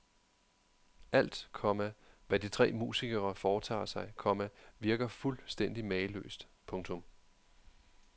Alt, komma hvad de tre musikere foretager sig, komma virker fuldstændig mageløst. punktum